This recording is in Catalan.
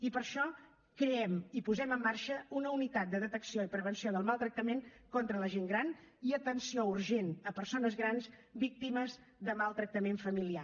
i per això creem i posem en marxa una unitat de detecció i prevenció del maltractament contra la gent gran i atenció urgent a persones grans víctimes de maltractament familiar